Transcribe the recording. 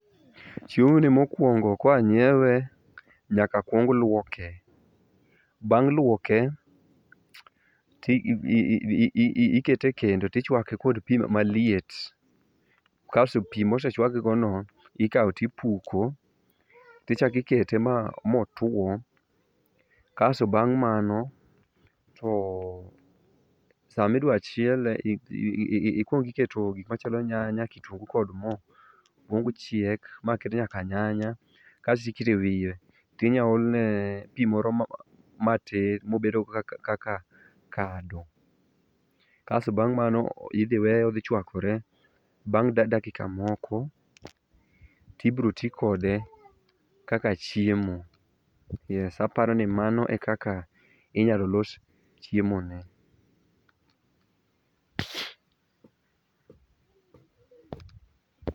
Chiemoni mokwongo koa nyiewe nyaka kuong lwoke, bang' lwoke tikete e kendo tichwake kod pi maliet kasto pi mosechwakgigono ikawo tipuko tichako ikete motwo kasto bang' mano to samidwa chiele ikwongi iketo gikmachalo nyanya, kitungu kod mo mochiek maket nyaka nyanya kasti ikete wiye tinya olne pi moro matin mobedogo kaka kado kasto bang' mano idhi weye odhi chwakore bang' dakika moko tibroti kode kaka chiemo, yes. Aparo ni mana e kaka inyalo los chiemoni.